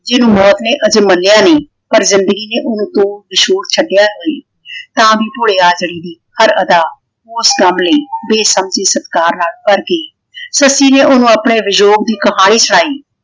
ਜਿਹਨੂੰ ਮੌਤ ਨੇ ਅਜੇ ਮੱਲਿਆ ਨਹੀ ਪਰ ਜਿੰਦਗੀ ਨੇ ਓਹਨੂੰ ਤੋੜ ਵਿਛੋੜ ਛੱਡਿਆ ਵਈ। ਤਾਂ ਵੀ ਭੋਲੇ ਆਜੜੀ ਨੇ ਹਰ ਅਦਾ ਉਸ ਕੰਮ ਲਈ ਬੇਸਮਝੀ ਸਤਿਕਾਰ ਨਾਲ ਭਰ ਗਈ। ਸੱਸੀ ਨੇ ਓਹਨੂੰ ਆਪਣੇ ਵਿਜੋਗ ਦੀ ਕਹਾਣੀ ਸੁਣਾਈ